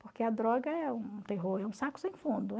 Porque a droga é um terror, é um saco sem fundo.